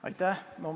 Aitäh!